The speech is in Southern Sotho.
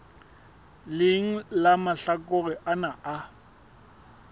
leng la mahlakore ana a